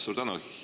Suur tänu!